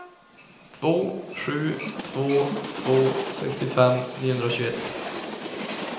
två sju två två sextiofem niohundratjugoett